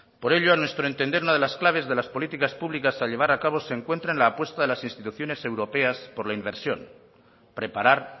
por ello a nuestro entender una de las claves de las políticas públicas a llevar a cabo se encuentra en la apuesta de las instituciones europeas por la inversión preparar